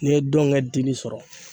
N'i ye don kɛ dili sɔrɔ